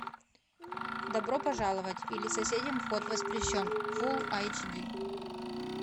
добро пожаловать или соседям вход воспрещен фулл айч ди